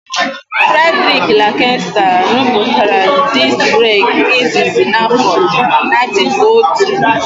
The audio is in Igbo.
Fredriki Lankesta rụpụtara diski breki izizi n'áfọ 1902.